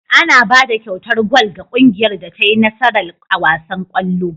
Ana bada kyautar gwal ga kungiyar da tai nasara a wasan kallo